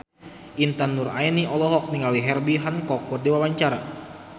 Intan Nuraini olohok ningali Herbie Hancock keur diwawancara